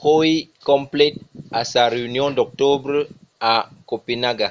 coi complet a sa reünion d’octobre a copenaga